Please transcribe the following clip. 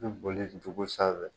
I bɛ boli cogo sanfɛ